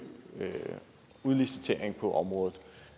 udliciteringen på området